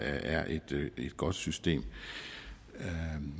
er et godt system